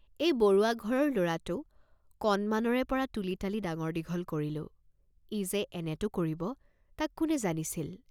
এই বৰুৱা ঘৰৰ ল'ৰাটো কণমানৰে পৰা তুলি তালি ডাঙৰ দীঘল কৰিলো, ই যে এনেটো কৰিব তাক কোনে জানিছিল?